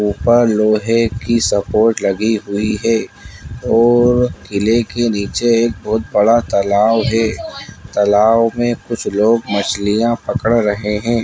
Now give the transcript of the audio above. ऊपर लोहे की स्पोर्ट लगी हुई है और किले के नीचे बहुत बड़ा तालाब है तालाब मे कुछ लोग मछलियां पकड़ रहे है।